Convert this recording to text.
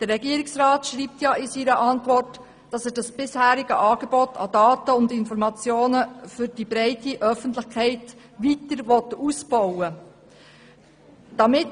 Der Regierungsrat schreibt in seiner Antwort, dass er das bisherige Angebot an Daten und Informationen für die breite Öffentlichkeit weiter ausbauen will.